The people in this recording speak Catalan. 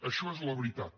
això és la veritat